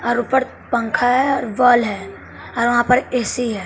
और ऊपर पंखा है और बाल है और वहां पर ए_सी है।